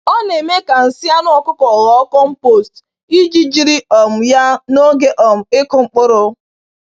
Ọ na-eme ka nsị anụ ọkụkọ ghọọ compost iji jiri um ya n’oge um ịkụ mkpụrụ.